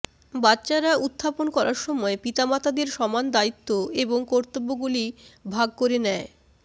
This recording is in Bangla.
বাচ্চারা উত্থাপন করার সময় পিতামাতাদের সমান দায়িত্ব এবং কর্তব্যগুলি ভাগ করে নেয়